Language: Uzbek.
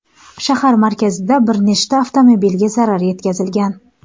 Shahar markazida bir nechta avtomobilga zarar yetkazilgan.